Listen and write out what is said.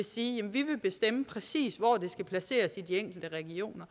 sige jamen vi vil bestemme præcis hvor det skal placeres i de enkelte regioner